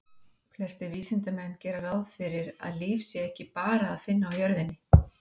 Flestir vísindamenn gera ráð fyrir því að líf sé ekki bara að finna á jörðinni.